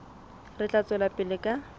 re tla tswela pele ka